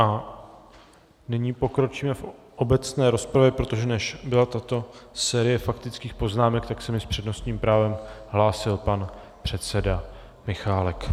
A nyní pokročíme v obecné rozpravě, protože než byla tato série faktických poznámek, tak se mi s přednostním právem hlásil pan předseda Michálek.